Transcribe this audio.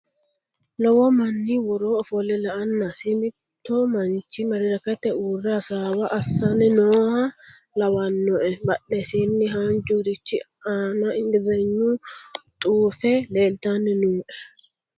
Lowo manni woroo ofolle la"annasi mitto manchi madirakete uurre hasaawa assani nooha lawanno badhesiinni haanjurich aana ingilizhagnu xuufe leeltanni nooe